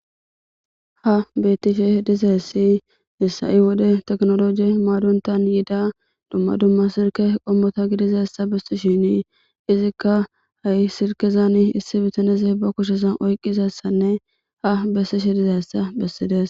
Ha bettishe dizayssi hissa7i wode teknoloje maadontan yiida dumma dumma sirke qommota gidizassa besti shinii izikka ha7i sirkezani issi bitaneze ba kushesan oyqqizassanne ha bessishe dizayssa bessides.